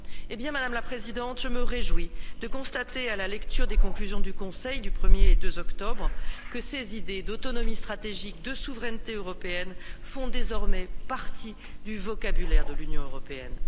Eh bien, Madame la Présidente, je me réjouis de constater, à la lecture des conclusions du Conseil du 1er et du 2 octobre, que ces idées d'autonomie stratégique, de souveraineté européenne font désormais partie du vocabulaire de l'Union européenne.